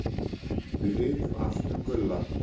Við vitum allt um Gulla.